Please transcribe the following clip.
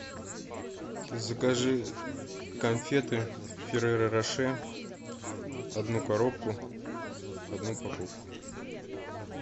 закажи конфеты ферреро роше одну коробку одну упаковку